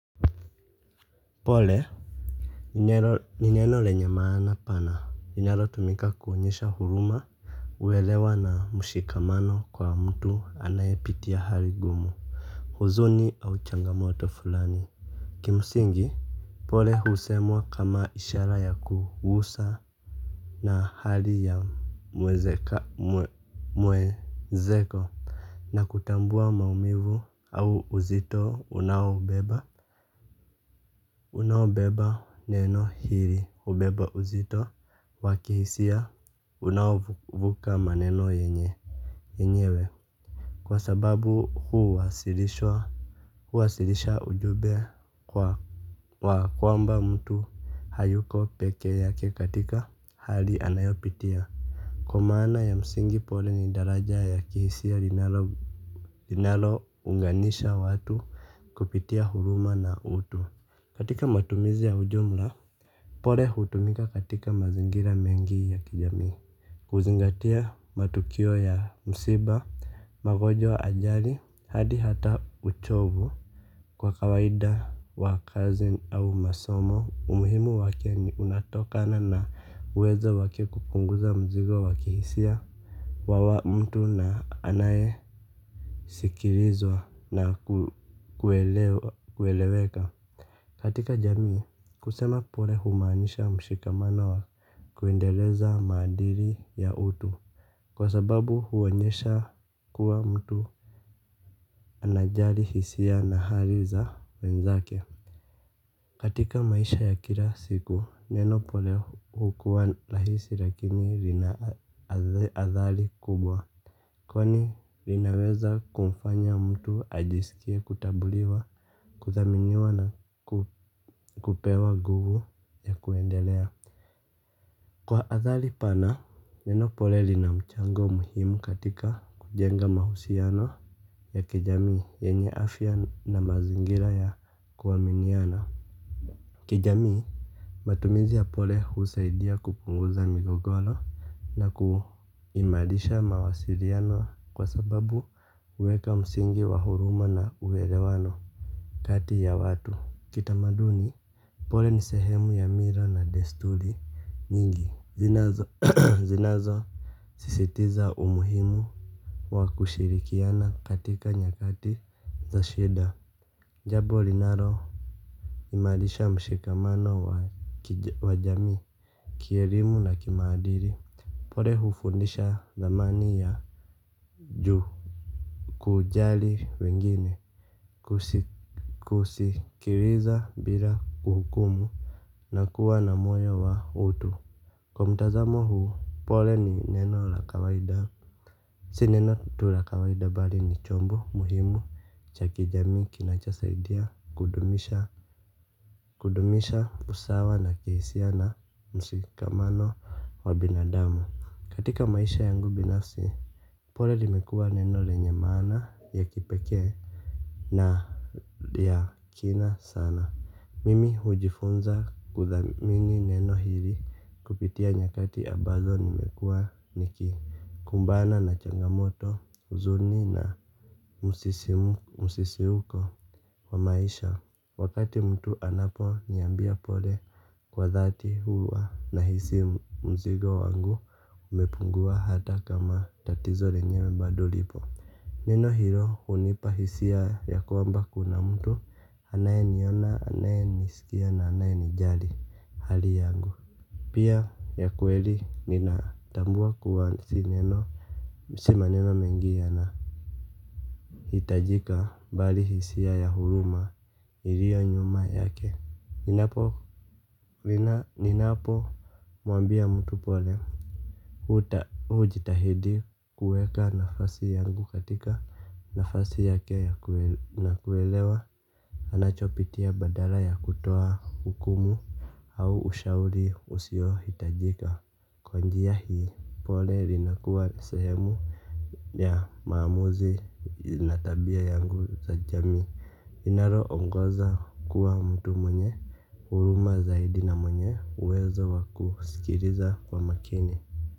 Pole ni neno lenye maana pana inalo tumika kuonyesha huruma uelewa na mushikamano kwa mtu anayepitia hali ngumu huzuni au changamoto fulani kimsingi pole husemwa kama ishara ya kuguswa na hali ya mwenzako na kutambua maumivu au uzito unaobeba. Unaobeba, neno hili hubeba uzito wakihisia unaovuka maneno yenyewe. Kwa sababu huwasilisha ujumbe kwamba mtu hayuko peke yake katika hali anayopitia. Kwa maana ya msingi, pole ni daraja ya kihisia linalo unganisha watu kupitia huruma na utu, katika matumizi ya ujumla, pole hutumika katika mazingira mengi ya kijamii, kuzingatia matukio ya msiba, magonjwa, ajali, hadi hata uchovu. Kwa kawaida wa kazi au masomo, umuhimu wake unatokana na uwezo wake kupunguza mzigo wakihisia, kwa mtu anaye sikilizwa na kueleweka. Katika jamii, kusema pole humaanisha mshikamana wa kuendeleza maadili ya utu. Kwa sababu huwonyesha kuwa mtu anajali hisia na hali za wenzake. Katika maisha ya kila siku, neno pole hukuwa rahisi lakini linaadhari kubwa. Kwani linaweza kumfanya mtu ajisikie kutambuliwa, kuthaminiwa na kupewa nguvu ya kuendelea. Kwa athari pana, neno pole linamchango muhimu katika kujenga mahusiano ya kijamii yenye afya na mazingira ya kuaminiana. Kijamii matumizi ya pole husaidia kupunguza migogoro na kuimarisha mawasiliano kwa sababu huweka msingi wa huruma na uelewano kati ya watu. Kitamaduni pole nisehemu ya mila na desturi nyingi zinazo zinazo sisitiza umuhimu wa kushirikiana katika nyakati za shida. Jambo linalo imarisha mshikamano wa jamii. Kielimu na kimaadili, pole hufundisha thamani ya juu. Kujali wengine kusikiliza bila kuhukumu na kuwa na moyo wa utu, kwa mtazamo huu pole ni neno la kawaida. Si neno tu la kawaida bali ni chombo muhimu cha jamii kinachosaidia kudumisha kudumisha usawa na kuhusiana mshikamano wa binadamu katika maisha yangu binafsi pole limekua neno lenye maana ya kipekee na ya kina sana. Mimi hujifunza kuthamini neno hili kupitia nyakati ambazo nimekua niki kumbana na changamoto, huzuni na msisimko wa maisha. Wakati mtu anaponiambia pole kwa dhati huwa nahisi mzigo wangu umepungua hata kama tatizo lenyewe bado lipo. Neno hilo hunipa hisia kwamba kuna mtu anayeniona, anayenisikia na anayenijali hali yangu. Pia ya kuweli ninatambua kuwa sineno si maneno mengi yana hitajika bali hisia ya huruma ilio nyuma yake. Ninapo mwambia mtu pole hujitahidi kuweka nafasi yangu katika nafasi yake na kuelewa anachopitia badala ya kutoa hukumu au ushauri usio hitajika. Kwa njia hii pole linakuwa sehemu ya maamuzi na tabia yangu za jamii linalo ongoza kuwa mtu mwenye huruma zaidi na mwenye uwezo wa kusikiliza kwa makini.